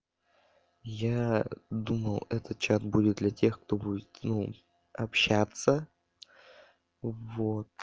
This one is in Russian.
я ээ думал этот чат будет для тех кто будет ну общаться вот